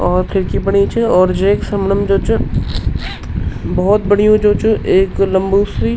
और खिड़की बणी च और जेक समणम जू च बहौत बढ़िया जू च एक लम्बू सी --